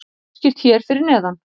Það er útskýrt hér fyrir neðan.